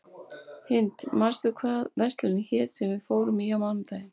Hind, manstu hvað verslunin hét sem við fórum í á mánudaginn?